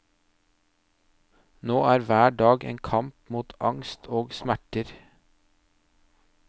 Nå er hver dag en kamp mot angst og smerter.